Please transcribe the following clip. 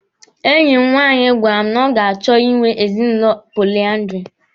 Enyi m nwaanyị gwara m na ọ ga-achọ Ị nwe ezinụlọ poliandiri.